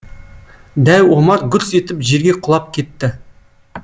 дәу омар гүрс етіп жерге құлап кетті